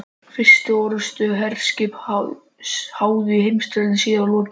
Fyrstu orrustu, sem herskip háðu í heimsstyrjöldinni síðari, var lokið